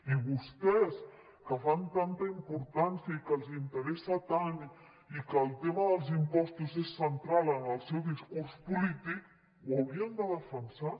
i vostès que hi donen tanta importància i que els interessa tant i que el tema dels impostos és central en el seu discurs polític ho haurien de defensar